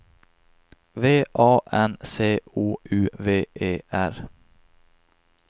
V A N C O U V E R